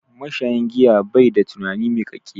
Mashayin giya bai da tunani miƙaƙƙe.